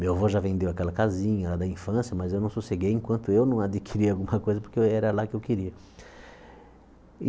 Meu avô já vendeu aquela casinha lá da infância, mas eu não sosseguei enquanto eu não adquiri alguma coisa porque era lá que eu queria.